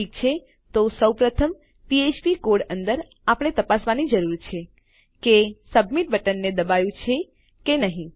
ઠીક છે તો સૌપ્રથમ આપણા ફ્ફ્પ કોડ અંદર આપણે તપાસવાની જરૂર છે કે સબમિટ બટનને દબાયું છે કે નહી